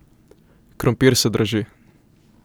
Krompir se draži.